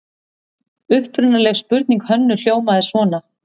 Upprunaleg spurning Hönnu hljómaði svona: